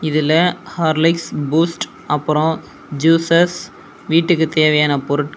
இதுல Horlicks Boost அப்ரோ juices வீட்டுக்கு தேவையான பொருட் --